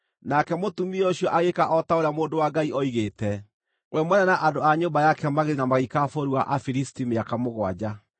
Nake mũtumia ũcio agĩĩka o ta ũrĩa mũndũ wa Ngai oigĩte. We mwene na andũ a nyũmba yake magĩthiĩ na magĩikara bũrũri wa Afilisti mĩaka mũgwanja.